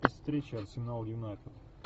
встреча арсенал юнайтед